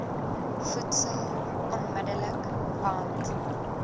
voedsel onmidddelik want